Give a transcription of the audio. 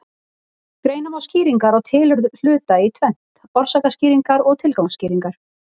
Greina má skýringar á tilurð hluta í tvennt: orsakaskýringar og tilgangsskýringar.